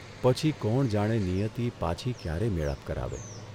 પછી કોણ જાણે નિયતી પાછી ક્યારે મેળાપ કરાવે